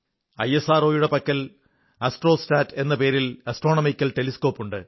ഐഎസ്ആർഒയുടെ പക്കൽ ആസ്ട്രോസാറ്റ് എന്ന പേരിലുള്ള ആസ്ട്രോണമിക്കൽ ടെലിസ്കോപ് ഉണ്ട്